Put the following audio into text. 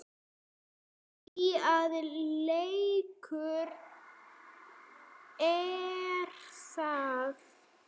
Því að leikur er það.